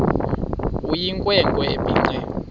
eyinkwe nkwe ebhinqe